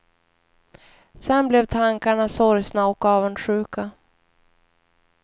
Sedan blev tankarna sorgsna och avundsjuka.